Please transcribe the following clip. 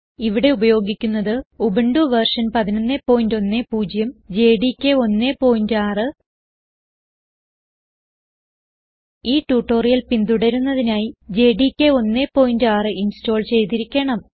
ഇവിടെ ഉപയോഗിക്കുന്നത് Ubuntu version 1110 JDK 16 ഈ ട്യൂട്ടോറിയൽ പിന്തുടരുന്നതിനായി ജെഡികെ 16 ഇൻസ്റ്റോൾ ചെയ്തിരിക്കണം